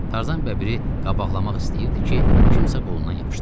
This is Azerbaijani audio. Tarzan bəbiri qabaqlamaq istəyirdi ki, kimsə qolundan yapışdı.